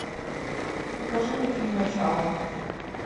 покажи мне фильм начало